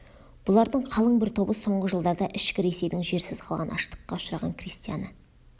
бұлардың қалың бір тобы соңғы жылдарда ішкі ресейдің жерсіз қалған аштыққа ұшыраған крестьяны